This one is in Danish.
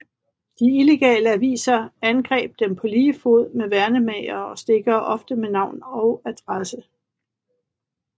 De illegale aviser angreb dem på lige fod med værnemagere og stikkere ofte med navn og adresse